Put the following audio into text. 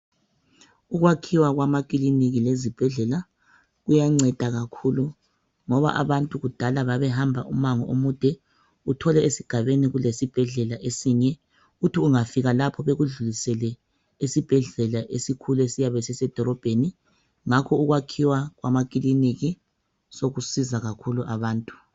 Ukwakhiwa kwamakiliniki lezibhedlela kuyanceda kakhulu ngoba abantu kudala babehamba umango omude uthole esigabeni kulesibhedlela esinye uthi ungafika lapho bekudlulisele esibhedlela esikhulu esiyabe sisedolobheni ngakho ukwakhiwa kwamakiliniki sekunceda kakhulu abantu.